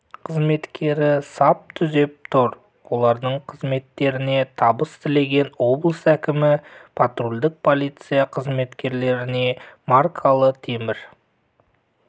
қызметкері сап түзеп тұр олардың қызметтеріне табыс тілеген облыс кімі патрульдік полиция қызметкерлеріне маркалы темір